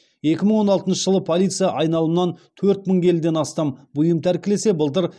екі мың он алтыншы жылы полиция айналымнан төрт мың келіден астам бұйым тәркілесе былтыр